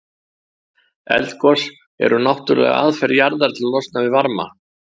Eldgos eru náttúrleg aðferð jarðar til að losna við varma.